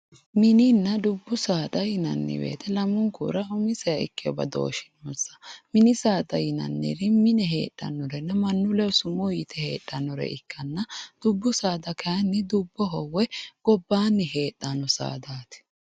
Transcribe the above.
Mininna dubbu saada yinnanni woyte lamunkura umiseha ikkino badooshi noonsa, mini saada yinnanniri mine heedhanoreti mannu ledo summu yite hedhanore ikkanna dubbu saada kayinni woyi gobbani heedhano saadati.